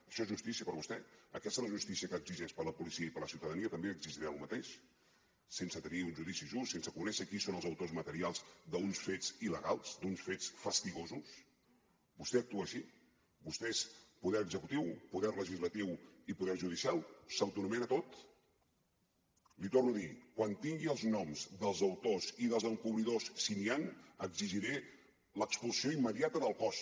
això és justícia per vostè aquesta és la justícia que exigeix per a la policia i per a la ciutadania també exigirà el mateix sense tenir un judici just sense conèixer qui són els autors materials d’uns fets il·legals d’uns fets fastigosos vostè actua així vostè és poder executiu poder legislatiu i poder judicial s’autoanomena tot l’hi torno a dir quan tingui els noms dels autors i dels encobridors si n’hi han exigiré l’expulsió immediata del cos